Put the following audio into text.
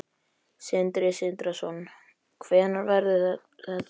Sindri Sindrason: Hvenær verður það gert?